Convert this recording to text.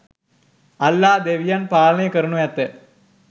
අල්ලා ‍දෙවියන් පාලනය කරනු ඇත